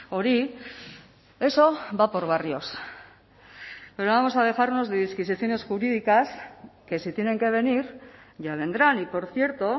hori eso va por barrios pero vamos a dejarnos de disquisiciones jurídicas que si tienen que venir ya vendrán y por cierto